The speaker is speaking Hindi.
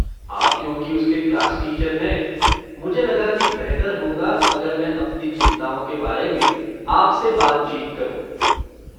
आप क्योंकि उसके क्लास टीचर हैं, मुझे लगा कि बेहतर होगा अगर मैं अपनी चिंताओं के बारे में आप से बातचीत करूँ।